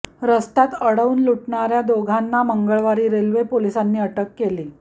रस्त्यात अडवून लुटणार्या दोघांना मंगळवारी रेल्वे पोलिसांनी अटक केली